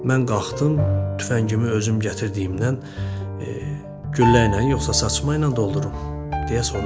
Mən qalxdım, tüfəngimi özüm gətirdiyimdən, "Güllə ilə, yoxsa saçma ilə doldurum?" deyə soruşdum.